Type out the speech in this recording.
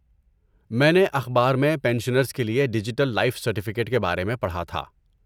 میں نے اخبار میں پینشنرز کے لیے ڈیجیٹل لائف سرٹیفکیٹ کے بارے میں پڑھا تھا۔